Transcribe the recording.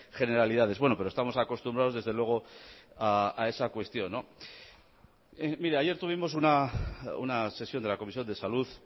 generalidades bueno pero estamos acostumbrados desde luego a esa cuestión mire ayer tuvimos una sesión de la comisión de salud